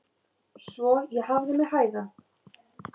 Svo ég hafði mig hægan.